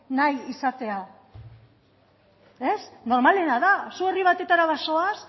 nahi izatea normalena da zu herri batetara bazoaz